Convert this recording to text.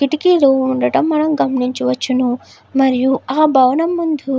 కిటికీలు ఉండటం మనం గమనించవచ్చును. మరియు ఆ భవనం ముందు --